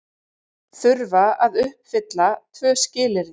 Þurfa að uppfylla tvö skilyrði